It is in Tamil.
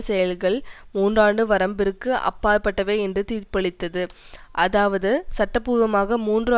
செயல்கள் மூன்றாண்டு வரம்பிற்கு அப்பாற்பட்டவை என்று தீர்ப்பளித்தது அதாவது சட்டபூர்வமாக மூன்று